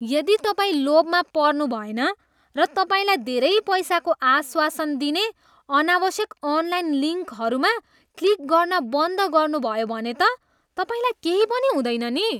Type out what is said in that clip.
यदि तपाईँ लोभमा पर्नुभएन र तपाईँलाई धेरै पैसाको आश्वासन दिने अनावश्यक अनलाइन लिङ्कहरूमा क्लिक गर्न बन्द गर्नुभयो भने त तपाईँलाई केही पनि हुँदैन नि।